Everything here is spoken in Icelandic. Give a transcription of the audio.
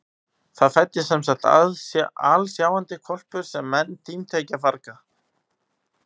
Það fæddist semsagt alsjáandi hvolpur sem menn tímdu ekki að farga.